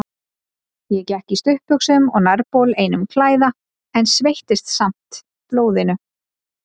Ég gekk í stuttbuxum og nærbol einum klæða, en sveittist samt blóðinu.